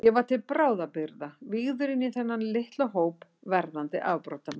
Ég var til bráðabirgða vígður inní þennan litla hóp verðandi afbrotamanna.